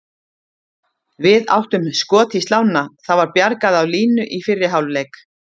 Við áttum skot í slánna, það var bjargað á línu í fyrri hálfleik.